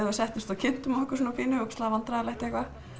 við settumst og kynntum okkur svona pínu ógeðslega vandræðalegt eitthvað